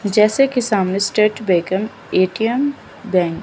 जैसे कि सामने स्टेट बेकन ए_टी_एम बैंक --